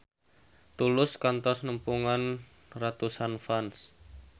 Tulus kantos nepungan ratusan fans